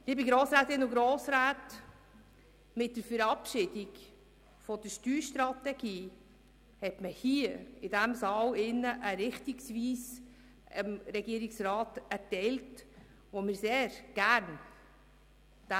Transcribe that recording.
Liebe Grossrätinnen und Grossräte, mit der Verabschiedung der Steuerstrategie hat man dem Regierungsrat in diesem Saal eine Richtung vorgegeben, die wir sehr gerne einschlagen.